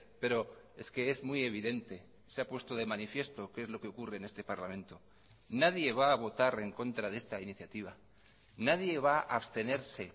pero es que es muy evidente se ha puesto de manifiesto que es lo que ocurre en este parlamento nadie va a votar en contra de esta iniciativa nadie va a abstenerse